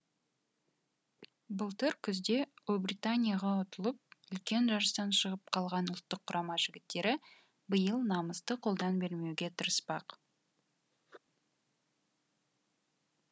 былтыр күзде ұлыбританияға ұтылып үлкен жарыстан шығып қалған ұлттық құрама жігіттері биыл намысты қолдан бермеуге тырыспақ